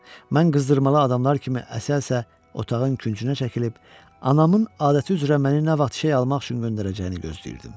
Mən qızdırmalı adamlar kimi əsə-əsə otağın küncünə çəkilib, anamın adəti üzrə məni nə vaxt şey almaq üçün göndərəcəyini gözləyirdim.